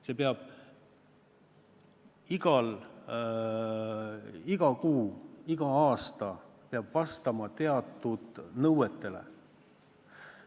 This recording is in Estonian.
See töö peab iga kuu, iga aasta vastama teatud nõuetele.